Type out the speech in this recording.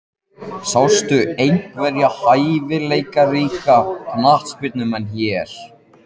Sástu einhverja hæfileikaríka knattspyrnumenn hér?